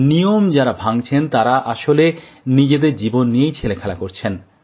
নিয়ম যাঁরা ভাঙছেন তাঁরা আসলে নিজেদের জীবন নিয়েই ছেলেখেলা করছেন